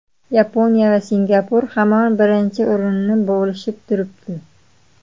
Yaponiya va Singapur hamon birinchi o‘rinni bo‘lishib turibdi.